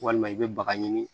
Walima i bɛ baga ɲini